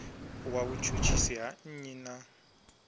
wa vhutshutshisi ha nnyi na